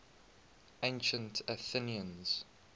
ancient athenians